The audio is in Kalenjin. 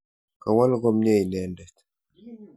Kawol komnye inendet.